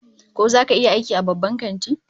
Ko zaka iya aiki a babban kanti?